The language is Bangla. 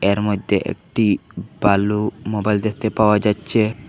এর মধ্যে একটি ভালো মোবাইল দেখতে পাওয়া যাচ্ছে।